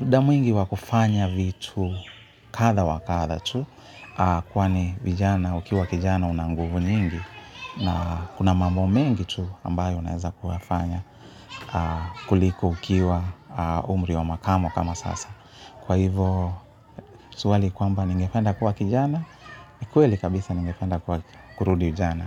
Muda mwingi wa kufanya vitu kadha wa kadha tu kwani vijana ukiwa kijana una nguvu nyingi. Na kuna mambo mengi tu ambayo unaeza kufanya kuliko ukiwa umri wa makamo kama sasa. Kwa hivo Tuwali kwamba ningependa kuwa kijana, ni kweli kabisa ningependa kuwa kurudi ujana.